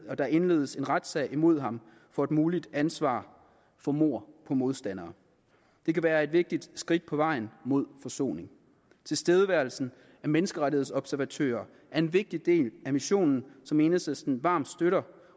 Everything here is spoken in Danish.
at der indledes en retssag imod ham for et muligt ansvar for mord på modstandere det kan være et vigtigt skridt på vejen mod forsoning tilstedeværelsen af menneskerettighedsobservatører er en vigtig del af missionen som enhedslisten varmt støtter